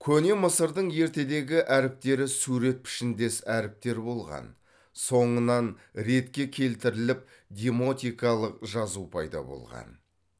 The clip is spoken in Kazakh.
көне мысырдың ертедегі әріптері сурет пішіндес әріптер болған соңынан ретке келтіріліп демотикалық жазу пайда болған